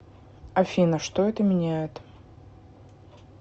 афина что это меняет